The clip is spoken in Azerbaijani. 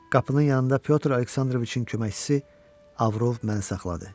Qapının yanında Pyotr Aleksandroviçin köməkçisi Avrov mənə saxladı.